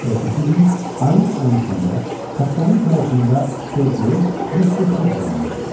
Ertəsi gün, ayın 13-də kapitanın kayutunda Spedi yox, Mister Foq dayanmışdı.